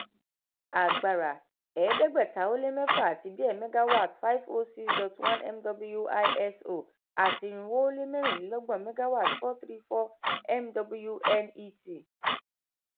agbara ẹ̀ẹ́dẹ́gbẹ̀ta-ó-lé-mẹ́fà àti díẹ̀ megawatt five zero six dot one mw iso ati irinwó-ó-lé-mẹ́rìnlélọ́gbọ̀n megawatt four three four mw net